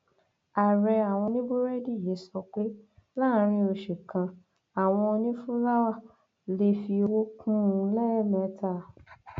ààrẹ àwọn oníbúrẹdì yìí sọ pé láàrin oṣù kanwọn onífúláwá lè fi owó kún un lẹẹmẹta